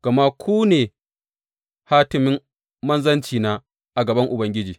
Gama ku ne hatimin manzancina a gaban Ubangiji.